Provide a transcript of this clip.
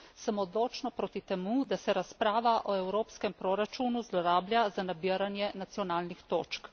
Sem odločno proti temu, da se razprava o evropskem proračunu zlorablja za nabiranje nacionalnih točk.